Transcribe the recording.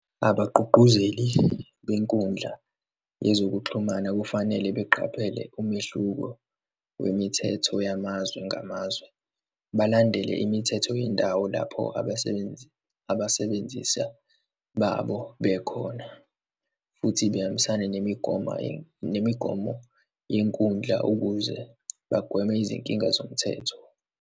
Abagqugquzeli benkundla yezokuxhumana kufanele beqaphele umehluko wemithetho yamazwe ngamazwe, balandele imithetho yendawo lapho abesenenzi, abasebenzisa babo bekhona, futhi behambisane nemigoma, nemigomo yenkundla ukuze bagweme izinkinga zomthetho.